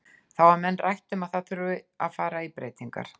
Þá hafa menn rætt um að það þurfi að fara í breytingar.